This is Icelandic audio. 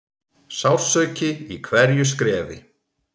Sársauki í hverju skrefi.